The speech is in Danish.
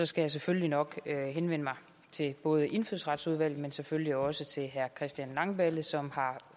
skal jeg selvfølgelig nok henvende mig til både indfødsretsudvalget men selvfølgelig også til herre christian langballe som har